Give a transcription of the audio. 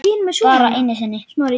Bara einu sinni?